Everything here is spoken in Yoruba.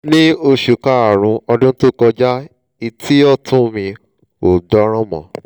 ní oṣù kárùn-ún ọdún tó kọjá etí ọ̀tún mi ò gbọ́rọ̀ mọ́